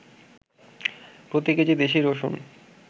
প্রতি কেজি দেশি রসুন